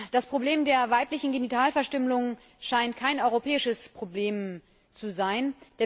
Das Problem der weiblichen Genitalverstümmelung scheint kein europäisches Problem zu sein.